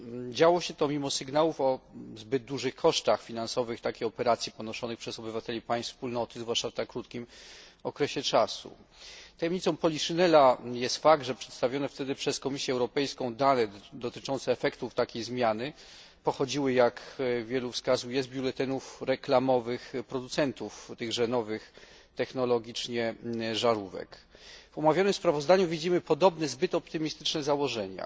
Działo się to mimo sygnałów o zbyt dużych kosztach finansowych takiej operacji ponoszonych przez obywateli państw Wspólnoty, zwłaszcza w tak krótkim okresie czasu. Tajemnicą poliszynela jest fakt, że przedstawione wtedy przez Komisję Europejską dane dotyczące efektów takiej zmiany pochodziły, jak wielu wskazuje, z biuletynów reklamowych producentów tychże nowych technologicznie żarówek. W omawianym sprawozdaniu widzimy podobne zbyt optymistyczne założenia.